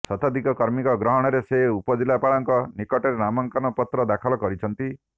ଶତିଧିକ କର୍ମୀଙ୍କ ଗହଣରେ ସେ ଉପଜିଲ୍ଲାପାଳଙ୍କ ନିକଟରେ ନାମାଙ୍କନ ପତ୍ର ଦାଖଲ କରିଛନ୍ତି